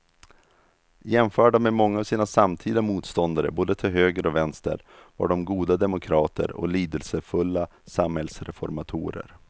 Jämförda med många av sina samtida motståndare både till höger och vänster var de goda demokrater och lidelsefulla samhällsreformatorer.